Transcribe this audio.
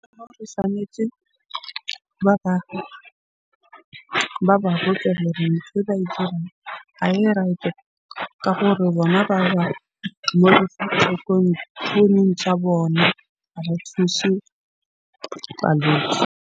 Tshwanetje ba ba botse gore ntho ba ha e right-e ka gore bona founung tja bona. Ha ba thushe .